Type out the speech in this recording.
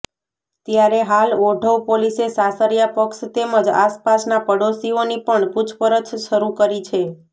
ત્યારે હાલ ઓઢવ પોલીસે સાસરિયા પક્ષ તેમજ આસપાસના પાડોશીઓની પણ પૂછપરછ શરૂ કરી છે